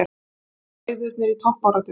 Bræðurnir í toppbaráttu